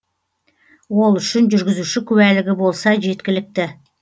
ол үшін жүргізуші куәлігі болса жеткілікті